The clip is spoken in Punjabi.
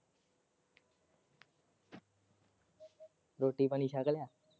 ਰੋਟੀ-ਪਾਣੀ ਛੱਕ ਲਿਆ?